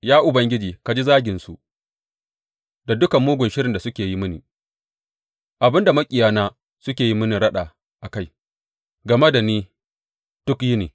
Ya Ubangiji, ka ji zaginsu, da duka mugun shirin da suke yi mini Abin da maƙiyana suke yin raɗa a kai game da ni duk yini.